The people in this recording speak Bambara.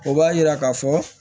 O b'a yira ka fɔ